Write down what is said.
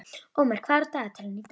Ómar, hvað er á dagatalinu í dag?